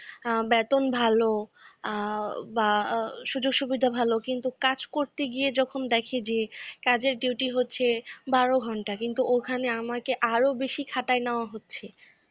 আ বেতন ভালো, আ বা সুযোগ সুবিধা ভালো। কিন্তু কাজ করতে গিয়ে যখন দেখে যে কাজের duty হচ্ছে বারো ঘন্টা কিন্তু ওখানে আমাকে আরো বেশি খাটায় নেওয়া হচ্ছে।